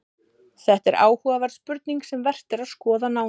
Þetta er áhugaverð spurning sem vert er að skoða nánar.